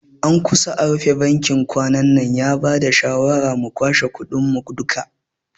An kusa a rufe bankin kwanannan, ya bada shawara mu kwashe kudin mu duka